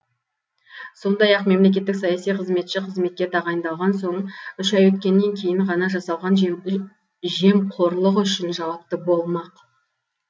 сондай ақ мемлекеттік саяси қызметші қызметке тағайындалған соң үш ай өткеннен кейін ғана жасалған жемқорлық үшін жауапты болмақ